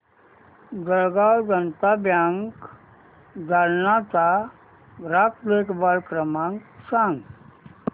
Jalgaon Janata bank Jalna चा ग्राहक देखभाल क्रमांक सांग